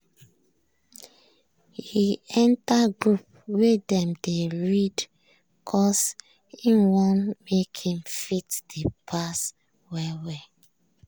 e enter group wey dem dey read cos him want make him fit dey pass well-well.